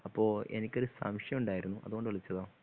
അപ്പോ എനിക്കൊരു സംശയം ഉണ്ടായിരുന്നു അതുകൊണ്ട് വിളിച്ചതാ